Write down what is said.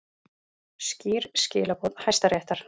Skýr skilaboð Hæstaréttar